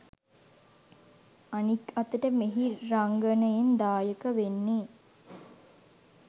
අනික් අතට මෙහි රංගනයෙන් දායක වෙන්නෙ